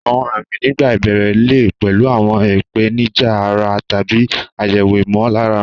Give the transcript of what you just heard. Àwọn àmì nígbà ìbẹ̀rẹ̀ lè pẹ̀lú àwọn ìpèníjà ara tàbí àyẹ̀wò ìmọ̀lára.